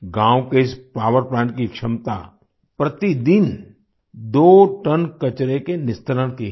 गाँव के इस पॉवर प्लांट की क्षमता प्रतिदिन दो टन कचरे के निस्तारण की है